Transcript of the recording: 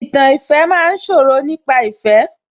Ìtàn ìfẹ́ ma ń sọ̀rọ̀ nípa ìfẹ́